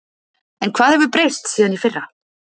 En hvað hefur breyst síðan í fyrra?